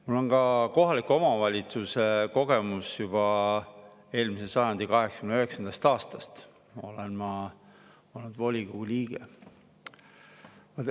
Mul on ka kohaliku omavalitsuse kogemus, juba eelmise sajandi 89. aastast olen ma olnud volikogu liige.